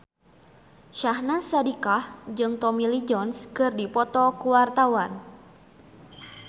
Syahnaz Sadiqah jeung Tommy Lee Jones keur dipoto ku wartawan